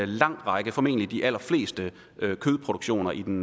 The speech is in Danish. lang række formentlig de allerfleste kødproduktioner i den